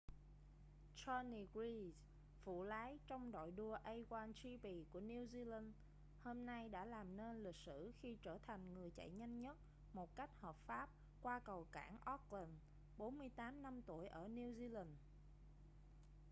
jonny reid phụ lái trong đội đua a1gp của new zealand hôm nay đã làm nên lịch sử khi trở thành người chạy nhanh nhất một cách hợp pháp qua cầu cảng auckland 48 năm tuổi ở new zealand